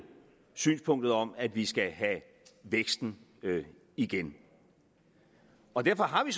synspunktet om at vi skal have væksten igen og derfor har vi